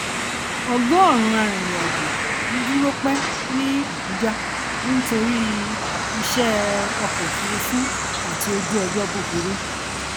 ọgọrùnún arìnrìnàjò um dúró pẹ ní abuja um nítorí iṣẹ um ọkọ òfuurufú àti ojúọjọ búburú